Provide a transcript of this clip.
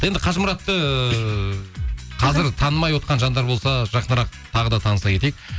енді қажымұратты қазір танымай отқан жандар болса жақынырақ тағы да таныса кетейік